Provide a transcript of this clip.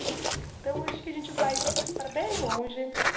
Então, acho que a gente vai para bem longe.